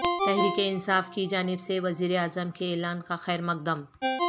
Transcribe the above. تحریک انصاف کی جانب سے وزیر اعظم کے اعلان کا خیر مقدم